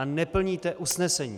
A neplníte usnesení.